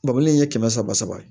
Babɔlen in ye kɛmɛ saba saba ye